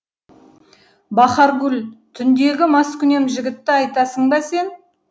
бахаргүл түндегі маскүнем жігітті айтасың ба сен